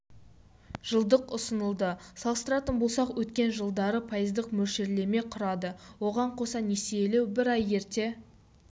жылдық ұсынылды салыстыратын болсақ өткен жылдары пайыздық мөлшерлеме құрады оған қоса несиелеу бір ай ерте